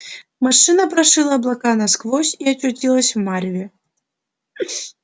машина прошила облака насквозь и очутилась в мареве